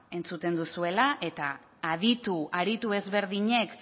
entzuten duzuela eta aditu aritu ezberdinek